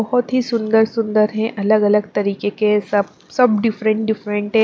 बहुत ही सुंदर सुंदर है अलग-अलग तरीके के सब सब डिफरेंट डिफरेंट है।